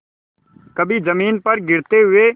कभी जमीन पर गिरते हुए